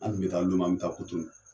An kun be taa Lome an be kotonu